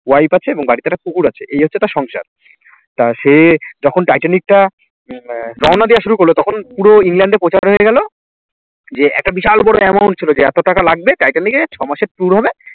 wife আছে এবং বাড়িতে একটা কুকুর আছে এই হচ্ছে তার সংসার। তা সে যখন টাইটানিক টা আহ রওনা দেওয়া শুরু করলো তখন পুরো ইংল্যান্ডে প্রচার হয়ে গেল যে একটা বিশাল বড় amount ছিল যে এত টাকা লাগবে টাইটানিকে ছ মাসের tour হবে